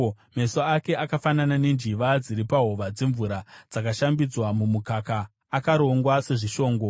Meso ake akafanana nenjiva dziri pahova dzemvura, dzakashambidzwa mumukaka, akarongwa sezvishongo.